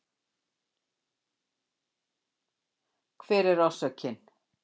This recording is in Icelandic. Hver er orsökin?